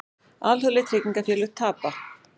Alþjóðleg tryggingafélög tapa